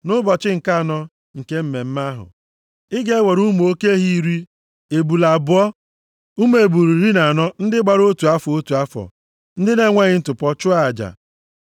“ ‘Nʼụbọchị nke anọ nke mmemme ahụ, ị ga-ewere ụmụ oke ehi iri, ebule abụọ, ụmụ ebule iri na anọ ndị gbara otu afọ, otu afọ, ndị na-enweghị ntụpọ, chụọ aja.